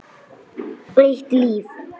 Eitt líf.